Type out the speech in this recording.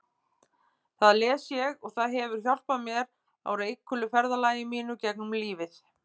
Það les ég og það hefur hjálpað mér á reikulu ferðalagi mínu gegnum lífið.